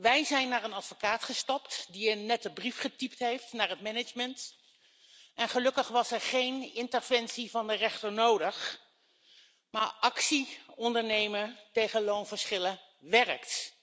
Wij zijn naar een advocaat gestapt, die een nette brief getypt heeft naar het management, en gelukkig was er geen interventie van de rechter nodig, maar actie ondernemen tegen loonverschillen werkt.